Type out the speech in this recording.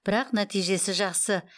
бірақ нәтижесі жақсы